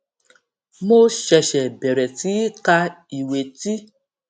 mo ṣèṣè bèrè sí í ka ìwé tí